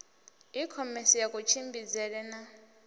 i khomese ya kutshimbidzele na